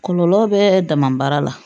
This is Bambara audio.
Kɔlɔlɔ bɛ dama baara la